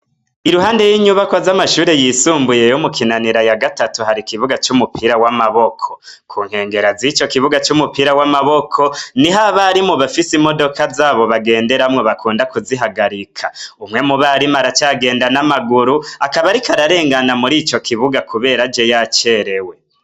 Iruhande y'inyubakwa z'amashure yisumbuye yo mu kinanira ya gatatu hari ikibuga c'umupira w'amaboko ku nkengera z'ico kibuga c'umupira w'amaboko ni ho abarimu bafise imodoka zabo bagenderamwo bakunda kuzihagarika umwe mu barimu aracagenda n'amaguru akabarika ararengana muri ico kibuga, kubera je yacerewe.